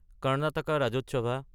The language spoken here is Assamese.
কৰ্ণাটক ৰাজ্যোৎসৱ